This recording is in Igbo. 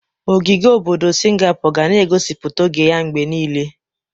Ogige obodo Singapor ga na egosipụta oge a mgbe niile.